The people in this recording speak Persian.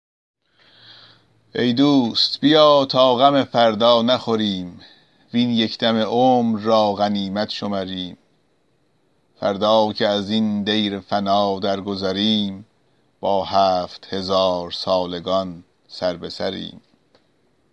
ای دوست بیا تا غم فردا نخوریم وین یک دم عمر را غنیمت شمریم فردا که ازین دیر فنا درگذریم با هفت هزارسالگان سربه سریم